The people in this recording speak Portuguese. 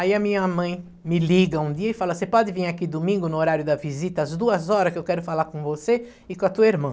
Aí a minha mãe me liga um dia e fala, você pode vir aqui domingo no horário da visita, às duas horas, que eu quero falar com você e com a tua irmã.